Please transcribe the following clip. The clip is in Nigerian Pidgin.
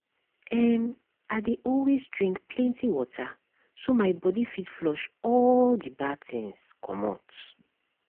ehm - i dey always drink plenty water so my body fit flush all the bad things comot.